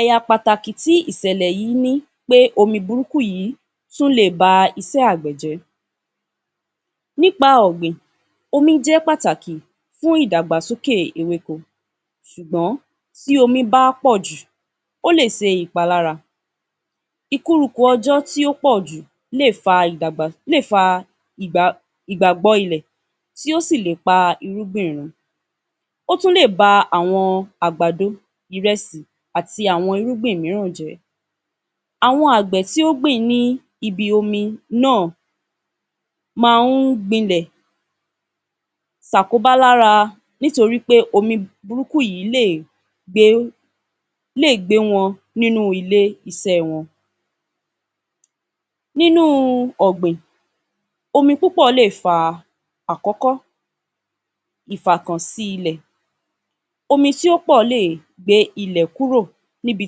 Ẹ̀yà pàtàkì tí ìṣẹ̀lẹ̀ yìí ni pé, omi burúkú yìí tún lè ba iṣẹ́ Àgbẹ̀ jẹ́. Nípa ọ̀gbìn omi jẹ́ pàtàkì fún ìdàgbàsókè ewéko ṣùgbọ́n tí omi bá pọ̀ jù ó lè ṣe ìpalára. Ìkúrukù ọjọ́ tí ó pọ̀ jù lè fa ìdàgbà, lè fa ìgbàgbọ́ ilẹ̀ tí o sì lè pa irúgbìn rún. Ó tún lè ba àwọn àgbàdò, ìrẹsì àti àwọn irúgbìn mìíràn jẹ́. Àwọn Àgbẹ̀ ti ó gbìn níbi omi náà máa ń gbilẹ̀ ṣàkóbá lára nítorí pé omi burúkú yìí lè gbé, lè gbé wọn nínú ilé-iṣẹ́ wọn. Nínú ọ̀gbìn, omi púpọ̀ lè fa: Àkọ́kọ́. Ìfakàn sí ilẹ̀. Omi tí ó pọ̀ lè gbé ilẹ̀ kúrò níbi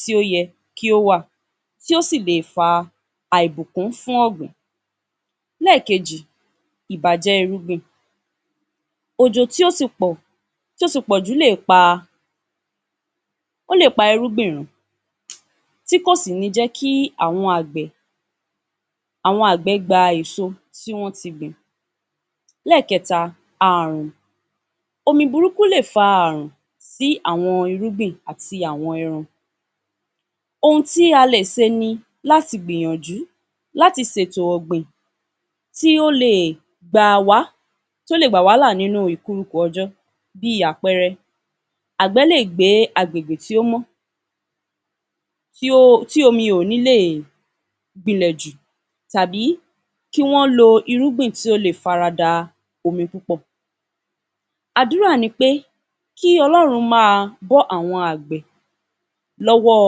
tí ó yẹ kí wà, tí ó sì lè fa àìbùkú fún ọ̀gbìn. Ẹlẹ́ẹ̀kejì. Ìbàjẹ́ irúgbìn. Òjò tí o ti pọ̀, tí o ti pọ̀ jù lè pa á, ó lè pa irúgbìn rún tí kò sì ní jẹ́ kí àwọn Àgbẹ̀, àwọn Àgbẹ̀ gba èso tí wọn ti gbìn. Ẹlẹ́ẹ̀kẹta. Àrùn. Omi burúkú lè fa àrùn sí àwọn irúgbìn àti àwọn ẹran. Ohun tí a lè ṣe ní láti gbìyànjú láti ṣètò ọ̀gbìn tí ó lè gbà wá, tí ó lè gbà wá lá ní ìkúrukù ọjọ́ bí àpẹẹrẹ Àgbẹ̀ lè gbé agbégbé tí ó mọ́, tí omi ò ní lè gbilẹ̀ jù tàbí kí wọ́n lo irúgbìn tí ó lè fara da omi púpọ̀. Àdúrà ni pé kí Ọlọ́run máa bọ́ àwọn Àgbẹ̀ lọ́wọ́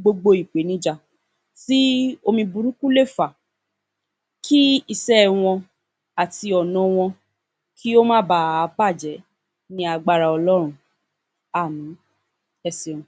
gbogbo ìpènijà tí omi burúkú le fa à. Kí iṣẹ́ wọn àti ọ̀nà wọn kí ó bà á máa bàjẹ́ ní agbára Ọlọ́run. Àmín. Ẹ ṣeun